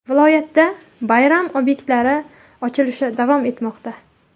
Viloyatda bayram obyektlari ochilishi davom etmoqda.